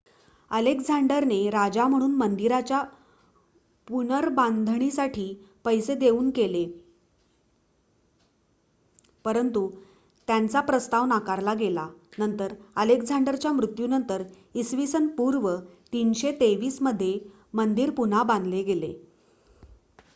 अलेक्झांडरने राजा म्हणून मंदिराच्या पुनर्बांधणीसाठी पैसे देऊ केले परंतु त्यांचा प्रस्ताव नाकारला गेला. नंतर अलेक्झांडरच्या मृत्यूनंतर इ.स.पू. 323 मध्ये मंदिर पुन्हा बांधले गेले